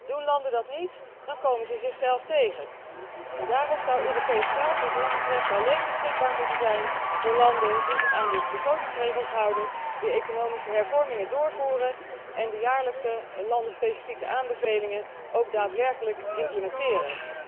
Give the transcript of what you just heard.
Doen landen dat niet, dan komen zij zichzelf tegen. Daarom zou Europees geld wat ons betreft alleen beschikbaar moeten zijn voor landen die zich aan de begrotingsregels houden, de economische hervormingen doorvoeren en de jaarlijkse landenspecifieke aanbevelingen ook daadwerkelijk implementeren.